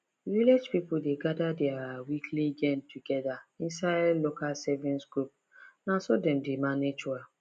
village people dey gather their weekly gain together inside local savings group na so dem dey manage well